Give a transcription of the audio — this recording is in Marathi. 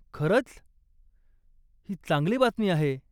खरंच? ही चांगली बातमी आहे.